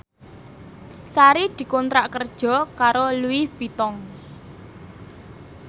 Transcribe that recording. Sari dikontrak kerja karo Louis Vuitton